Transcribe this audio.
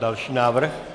Další návrh.